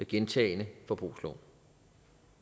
gentagne forbrugslån